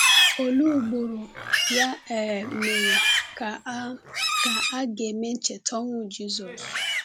Olee ugboro, ya um mere, ka a ka a ga-eme ncheta ọnwụ Jisọs?